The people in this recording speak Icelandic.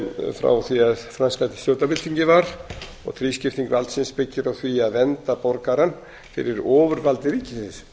frá því að franska stjórnarbyltingin var og þrískipting valdsins byggir á því að vernda borgarann fyrir ofurvaldi ríkisins